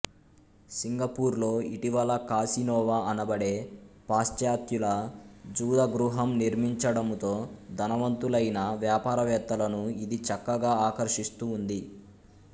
Singapore లో ఇటీవల కాసినోవా అనబడే పాశ్చాత్యుల జూదగృహము నిర్మించడముతో ధనవంతులైన వ్యాపారవేత్తలను ఇది చక్కగా ఆకర్షిస్తూఉంది